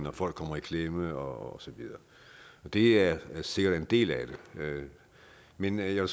at folk kommer i klemme og så videre det er sikkert en del af det men jeg